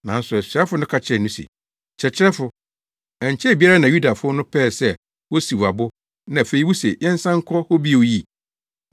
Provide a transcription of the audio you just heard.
Nanso asuafo no ka kyerɛɛ no se, “Kyerɛkyerɛfo, ɛnkyɛe biara na Yudafo no pɛɛ sɛ wosiw wo abo na afei wuse yɛnsan nkɔ hɔ bio yi?”